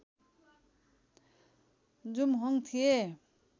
जुमहोङ थिए